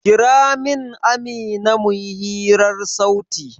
Kira min Amina mu yi hirar sauti!